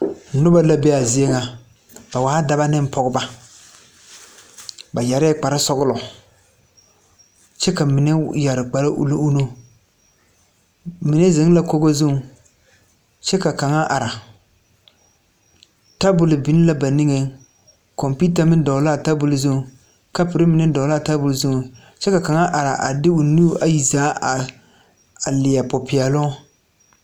Noba la be a zie ŋa ba waa dɔba ne pɔgeba ba yɛrɛɛ kpare sɔgla kyɛ ka mine yɛre kpare ulli ulli mine zeŋ la kogo zuŋ kyɛ ka kaŋa are tabole biŋ la ba niŋe kompeeta meŋ dogle la a tabole zu kapore mine dogle la a tabole zu kyɛ ka kaŋa are de o nuuri ayi zaa a leɛ popeɛloŋ.